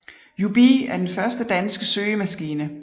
Jubii er den første danske søgemaskine